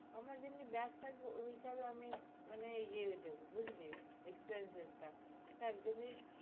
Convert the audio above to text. আমরা যেমনি match থাকবে ঐ হিসেবে আমি মানে ইয়ে হতে হবে expenses টা